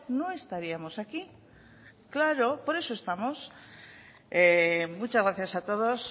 no estaríamos aquí claro por eso estamos muchas gracias a todos